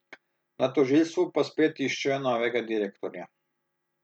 Na tožilstvu pa spet iščejo novega direktorja.